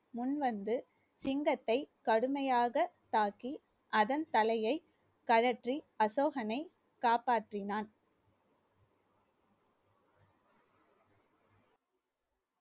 முன்வந்து சிங்கத்தை கடுமையாக தாக்கி அதன் தலையை கழற்றி அசோகனை காப்பாற்றினான்